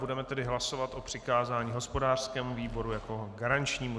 Budeme tedy hlasovat o přikázání hospodářskému výboru jako garančnímu.